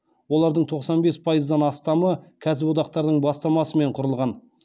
олардың тоқсан бес пайыздан астамы кәсіподақтардың бастамасымен құрылған